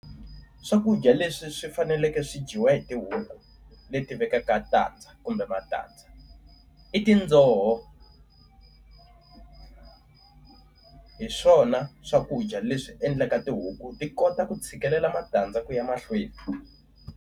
Swakudya leswi swi faneleke swi dyiwa hi tihuku leti vekaka tandza kumbe matandza i tindzoho hiswona swakudya leswi endlaka tihuku ti kota ku tshikelela matandza ku ya mahlweni.